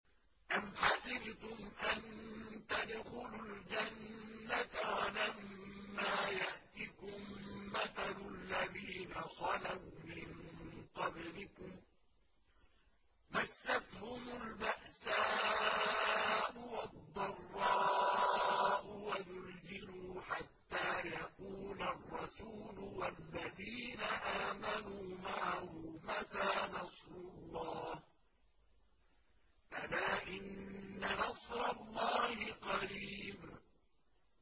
أَمْ حَسِبْتُمْ أَن تَدْخُلُوا الْجَنَّةَ وَلَمَّا يَأْتِكُم مَّثَلُ الَّذِينَ خَلَوْا مِن قَبْلِكُم ۖ مَّسَّتْهُمُ الْبَأْسَاءُ وَالضَّرَّاءُ وَزُلْزِلُوا حَتَّىٰ يَقُولَ الرَّسُولُ وَالَّذِينَ آمَنُوا مَعَهُ مَتَىٰ نَصْرُ اللَّهِ ۗ أَلَا إِنَّ نَصْرَ اللَّهِ قَرِيبٌ